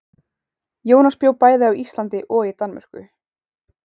Jónas bjó bæði á Íslandi og í Danmörku.